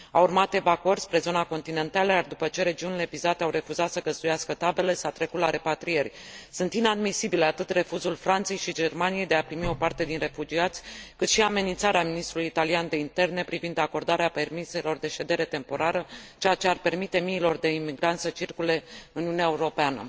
Au urmat evacuări spre zona continentală, iar, după ce regiunile vizate au refuzat să găzduiască taberele, s a trecut la repatriere. Sunt inadmisibile atât refuzul Franței și Germaniei de a primi o parte din refugiați, cât și amenințarea ministrului italian de interne privind acordarea permiselor de ședere temporară, ceea ce ar permite miilor de imigranți să circule în Uniunea Euorpeană.